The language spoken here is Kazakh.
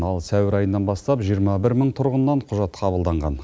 ал сәуір айынан бастап жиырма бір мың тұрғыннан құжат қабылданған